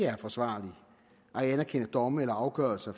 er forsvarligt at anerkende domme eller afgørelser